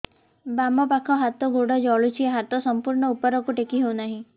ବାମପାଖ ହାତ ଗୋଡ଼ ଜଳୁଛି ହାତ ସଂପୂର୍ଣ୍ଣ ଉପରକୁ ଟେକି ହେଉନାହିଁ